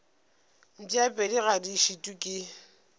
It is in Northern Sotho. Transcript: mpšapedi ga di šitwe ke